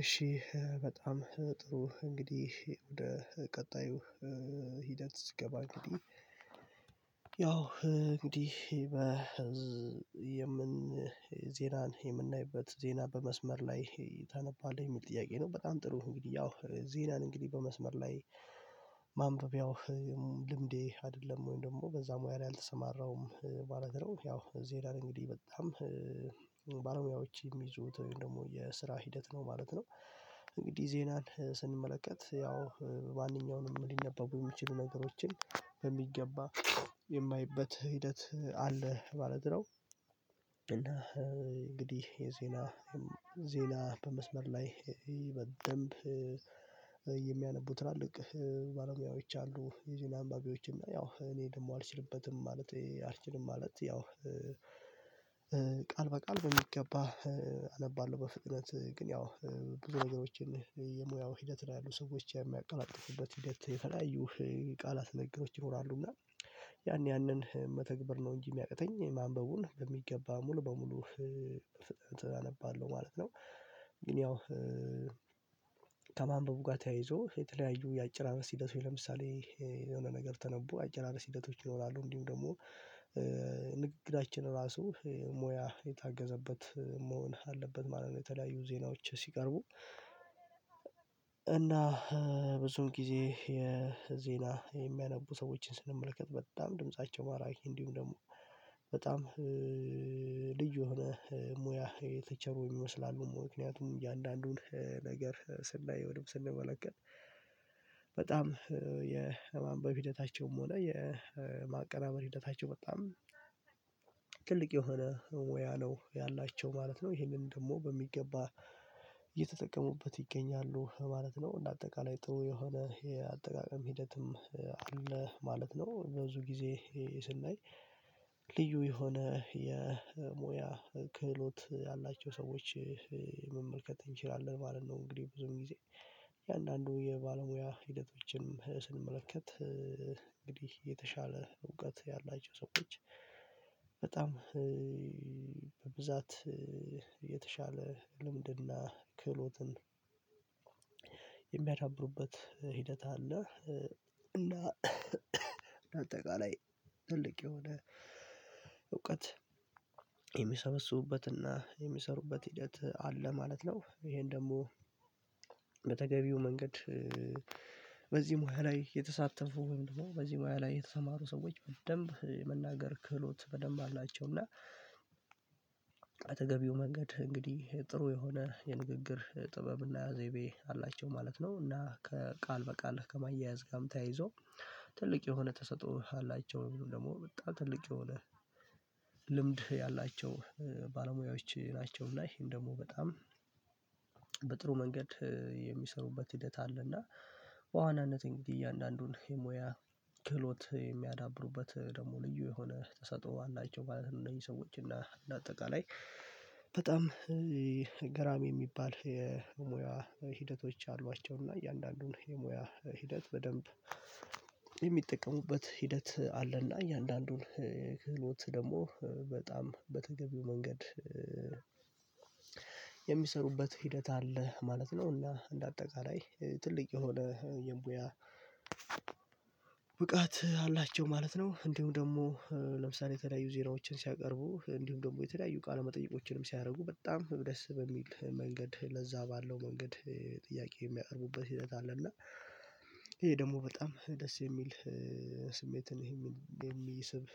እሺ በጣም ጥሩ እንግዲህ ወደ ቀጣዩ ሂደት ስገባ እንግዲህ ያው እንግዲህ በ የምን ዜና የምናይበት ዜና በመስመር ላይ ታነባለህ የሚል ጥያቄ ነው። በጣም ጥሩ እንግዲህ ያው ዜናን እንግዲህ በመስመር ላይ ማምበቢያው ልምዴ አይደለም ወይም ደግሞ በዛ ሙያ ላይ አልተሰማራውም ማለት ነው። ያው ዜዳን እንግዲህ በጣም ባለሙያዎች የሚይዙት ወይም ደግሞ የስራ ሂደት ነው ማለት ነው። እንግዲህ ዜናን ስንመለከት ያው ማንኛውንም ሊነበቡ የሚችሉ ነገሮችን በሚገባ የማይበት ሂደት አለ ማለት ነው። እና እንግዲህ የዜና ዜና በመስመር ላይ በደንብ የሚያነቡ ትላልቅ ባለሙያዎች አሉ የዜና አንባቢዎች ያው እኔ ደግሞ አልችልበትም። ማለቴ አልችልም ማለት ያው ቃል በቃል በሚገባ አነባለሁ በፍጥነት ግን ያው ብዙ ነገሮችን የሙያው ሂደት ያሉ ሰዎች የሚያቀላጥፉበት ሂደት የተለያዩ ቃላት ንግግሮች ይኖራሉ እና ያን ያንን መተግበር ነው እንጂ የሚያቅተኝ ማንበቡን በሚገባ ሙሉ በሙሉ በፍጥነት አነባለሁ ማለት ነው። ግን ያው ከማንበቡ ጋር ተያይዞ የተለያዩ የአጭራረስ ሂደቶች ለምሳሌ የሆነ ነገር ተነቡ አጨራረስ ሂደቶች ይኖራሉ እንዲሁ ደግሞ ራሱ ሙያ የታገዘበት መሆን አለበት ማለት ነው። የተለያዩ ዜናዎች ሲቀርቡ እና ብዙ ጊዜ የዜና የሚያነቡ ሰዎችን ስንመለከት በጣም ድምፃቸው ማራኪ እንዲሁም ደግሞ በጣም ልዩ የሆነ ሙያ የተቸሩ ይመስላሉ ምክንያቱም እያንዳንዱን ነገር ስናየው ወይም ስንመለከት በጣም የማንበብ ሂደታቸውም ሆነ የማቀናበር ሂደታቸው በጣም ትልቅ የሆነ ሙያ ነው ያላቸው ማለት ነው። ይሄንን ደግሞ በሚገባ ይገኛሉ ማለት ነው እንደ አጠቃላይ ጥሩ የሆነ ይሄ የአጠቃቀም ሂደትም አለ ማለት ነው። በብዙ ጊዜ ስናይ ልዩ የሆነ የሙያ ክህሎት ያላቸው ሰዎች መመልከት እንችላለን ማለት ነው። እንግዲህ ብዙም ጊዜ እያንዳንዱ የባለሙያ ሂደቶችን ስንመለከት እንግዲህ የተሻለ እውቀት ያላቸው ሰዎች በጣም በብዛት የተሻለ ልምድና ክህሎትን የሚያዳብሩበት ሂደት አለ እና በአጠቃላይ ትልቅ የሆነ እውቀት የሚሰበስቡበትና የሚሰሩበት ሂደት አለ ማለት ነው። ይሄን ደግሞ በተገቢው መንገድ ሙያ ላይ የተሳተፉ ወይም ደግሞ በዚህ ሙያ ላይ የተሰማሩ ሰዎች በደንብ የመናገር ክህሎት በደንብ አላቸው እና በተገቢው መንገድ እንግዲህ ጥሩ የሆነ የንግግር ጥበብና ዘይቤ አላቸው ማለት ነው። እና ከቃል በቃል ከማያያዝ ጋም ተያይዞ ትልቅ የሆነ ተሰጥኦ አላቸው ወይም ደግሞ በጣም ትልቅ የሆነ ልምድ ያላቸው ባለሙያዎች ናቸው እና ይሄም ደግሞ በጣም በጥሩ መንገድ የሚሰሩበት ሂደት አለና በዋናነት እንግዲህ እያንዳንዱን የሙያ ክህሎት የሚያዳብሩበት ደግሞ ልዩ የሆነ ተሰጥኦ አላቸው ማለት ነው። እነዚህ ሰዎች እና እንደ አጠቃላይ በጣም ገራሚ የሚባል የሙያ ሂደቶች አሏቸው እና እያንዳንዱን የሙያ ሂደት በደንብ የሚጠቀሙበት ሂደት አለና እያንዳንዱን ክህሎት ደግሞ በጣም በተገቢው መንገድ የሚሰሩበት ሂደት አለ ማለት ነው። እና እንደ አጠቃላይ ትልቅ የሆነ የሙያ ብቃት አላቸው ማለት ነው። እንዲሁም ደግሞ ለምሳሌ የተለያዩ ዜናዎችን ሲያቀርቡ እንዲሁም ደግሞ የተለያዩ ቃለመጠይቆችንም ሲያደርጉ በጣም በደስ በሚል መንገድ ለዛ ባለው መንገድ ጥያቄ የሚያቀርቡበት ሂደት አለ እና ይሄ ደግሞ በጣም ደስ የሚል ስሜትን የሚስብ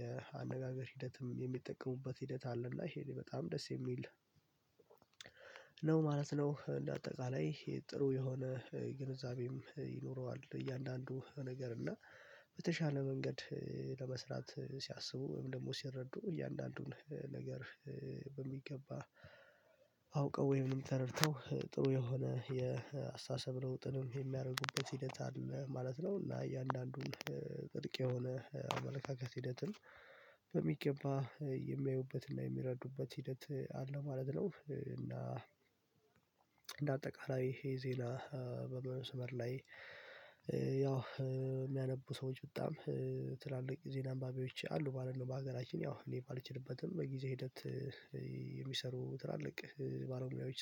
የአነጋገር ሂደትም የሚጠቀሙበት ሂደት አለ እና ይሄ በጣም ደስ የሚል ነው ማለት ነው። እንደ አጠቃላይ ጥሩ የሆነ ግንዛቤም ይኖረዋል እያንዳንዱ ነገር እና በተሻለ መንገድ ለመስራት ሲያስቡ ወይም ደግሞ ሲረዱ እያንዳንዱን ነገር በሚገባ አውቀው ወይም ተረድተው ጥሩ የሆነ የአስተሳሰብ ለውጥንም የሚያደርጉበት ሂደት አለ ማለት ነው። እና እያንዳንዱን ጥልቅ የሆነ አመለካከት ሂደትን በሚገባ የሚያዩበትና የሚረዱበት ሂደት አለ ማለት ነው። እና እንደ አጠቃላይ ይሄ ዜና በመስመር ላይ ያው የሚያነቡ ሰዎች በጣም ትላልቅ ዜና አንባቢዎች አሉ ማለት በሀገራችን ያው እኔ ባልችልበትም በጊዜ ሂደት የሚሰሩ ትላልቅ ባለሙያዎች